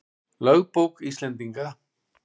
Lögbók Íslendinga.